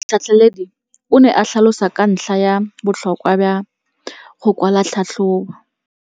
Motlhatlheledi o ne a tlhalosa ka ntlha ya botlhokwa jwa go kwala tlhatlhôbô.